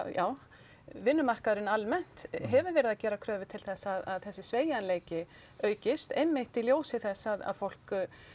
já vinnumarkaðurinn almennt hefur verið að gera kröfu til þess að þessi sveigjanleiki aukist einmitt í ljósi þess að fólk